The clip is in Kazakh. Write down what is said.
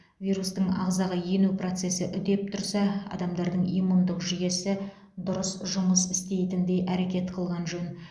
вирустың ағзаға ену процесі үдеп тұрса адамдардың иммундық жүйесі дұрыс жұмыс істейтіндей әрекет қылған жөн